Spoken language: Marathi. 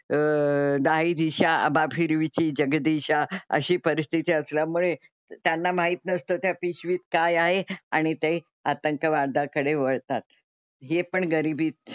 अह दाहीदिशा आम्हा फिरविसी जगदीशा अशी परिस्थिती असल्यामुळे त्यांना माहीत नसतं त्या पिशवीत काय आहे आणि ते आतंकवादाकडे वळतात. हे पण गरीबी,